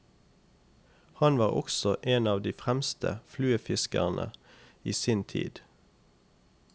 Han var også en av de fremste fluefiskere i sin tid.